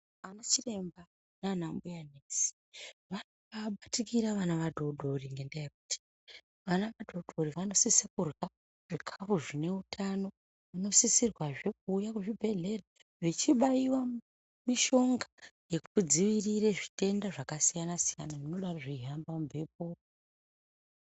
Ana chiremba nana mbuya nesi vanobabatikira vana vadodori ngenda yekuti vana vadodori vanosise kurya zvikafu zvineutano vanosisirwazve kuuya kuzvibhedhlera vechibaiwa mishonga yekudziirire zvitenda zvakasiyana siyana zvinodaro zveihamba mumbepo.